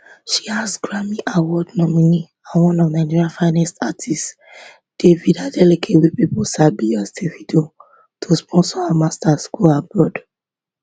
she ask grammyaward nominee and one of nigeria finest artiste david adeleke wey pipo sabi as davido to sponsor her masters degree go abroad